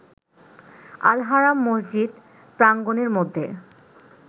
Al-Haram মসজিদ প্রাঙ্গণের মধ্যে